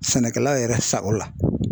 Sɛnɛkɛla yɛrɛ sa o la